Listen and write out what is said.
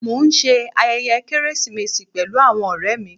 Mọ̀ n ṣẹ ayẹyẹ Keresimesi pẹ̀lú awọn ọ̀rẹ̀ mi